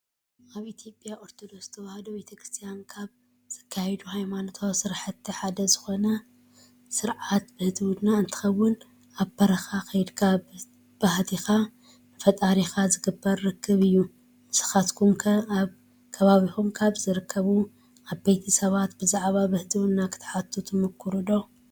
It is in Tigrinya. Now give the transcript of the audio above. ኣብ ኢትዮጵያ ኦርቶዶክስ ተዋህዶ ቤተክርስቲያን ካብ ዝካየዱ ሃይማኖታዊ ስራሕቲ ሓደ ዝኾነ ስርዓተ ብህትውና እንትኾውን ኣብ በረካ ከይድኻ ብህትኻ ንፈጣሪኻ ዝግበር ርክብ እዩ። እስንኹም ኸ ኣብ ከባቢኹም ካብ ዝርከቡ ዓበይቲ ሰባት ብዛዕባ ብህትውና ክትሓቱ ትምኩሩ ዶ?